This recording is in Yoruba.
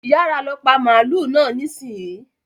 Yára lọ pa màlúù náà nísìnyìí.